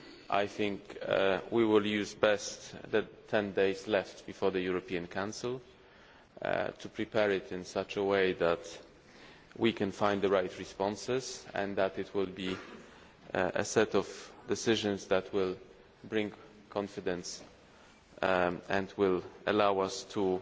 I think we will best use the 10 days left before the European Council to prepare it in such a way that we can find the right responses and that it will be a set of decisions that will bring confidence and will allow us to